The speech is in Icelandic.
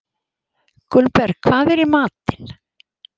Gunnberg, hvað er í matinn?